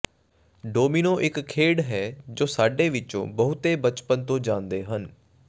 domino ਇੱਕ ਖੇਡ ਹੈ ਜੋ ਸਾਡੇ ਵਿਚੋਂ ਬਹੁਤੇ ਬਚਪਨ ਤੋਂ ਜਾਣਦੇ ਹਨ